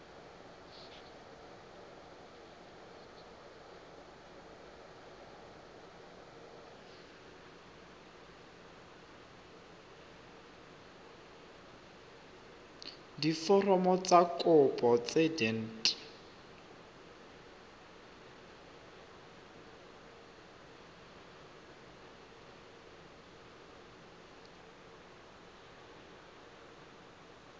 diforomo tsa kopo tse dint